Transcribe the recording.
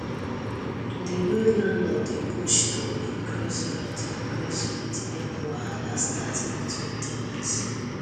the way landlord dey push to increase rent increase rent make wahala start between ten ants